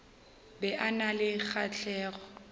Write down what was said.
be a na le kgahlego